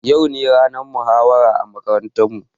Yau ne ranar muhawara a makarantar mu